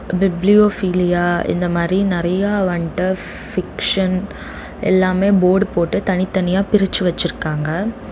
Bibliophilia இந்த மாரி நெறயா வண்ட்டு பிக்சன் எல்லாமே போர்டு போட்டு தனித்தனியா பிரிச்சு வச்சிருக்காங்க.